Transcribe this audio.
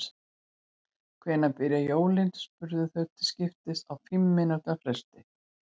Hvenær byrja jólin? spurðu þau til skiptist á fimm mínútna fresti.